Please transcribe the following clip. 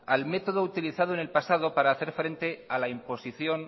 al método utilizado en el pasado para hacer frente a la imposición